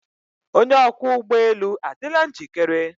Onye ọkwọ ụgbọ elu adịla njikere.